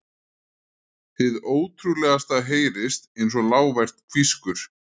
Hið ótrúlegasta heyrist einsog lágvært hvískur.